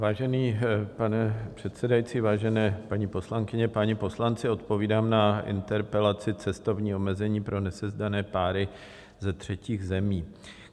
Vážený pane předsedající, vážené paní poslankyně, páni poslanci, odpovídám na interpelaci "cestovní omezení pro nesezdané páry ze třetích zemí".